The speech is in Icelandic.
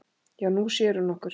Já, Nú sér hún okkur